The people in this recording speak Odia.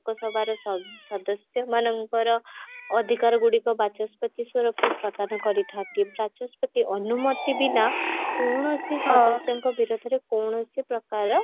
ଲୋକସଭାର ସ ସଦସ୍ୟ ମାନଙ୍କର ଅଧିକାର ଗୁଡିକ ବାଚସ୍ପତି ସ୍ୱରୂପ ପ୍ରଦାନ କରିଥାନ୍ତି ବାଚସ୍ପତି ଅନୁମତି ବିନା କୌଣସି ସଦସ୍ୟଙ୍କ ବିରୋଧରେ କୌଣସି ପ୍ରକାରର